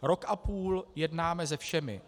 Rok a půl jednáme se všemi.